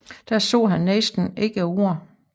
Der sa han næsten ikke et Ord